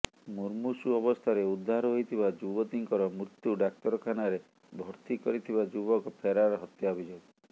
ମୁର୍ମୂଷୁ ଅବସ୍ଥାରେ ଉଦ୍ଧାର ହୋଇଥିବା ଯୁବତୀଙ୍କର ମୃତ୍ୟୁ ଡାକ୍ତରଖାନାରେ ଭର୍ତ୍ତି କରିଥିବା ଯୁବକ ଫେରାର ହତ୍ୟା ଅଭିଯୋଗ